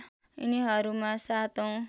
यिनीहरूमा ७ औँ